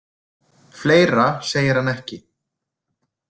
Fleira segir hann ekki.